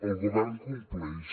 el govern compleix